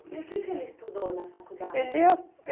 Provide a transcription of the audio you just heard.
E o que que ele estudou na faculdade? Ele